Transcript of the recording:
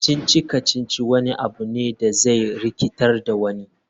Kacici-kacici wani abu ne da zai rikitar da wani.